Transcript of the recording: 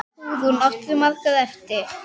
Hugrún: Áttirðu margar eftir?